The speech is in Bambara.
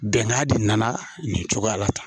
Bɛnkan de nana nin cogoya la tan